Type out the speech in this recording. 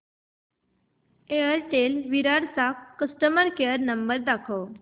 Airtel Virar चा customer care number दाखव